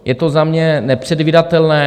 Je to za mě nepředvídatelné.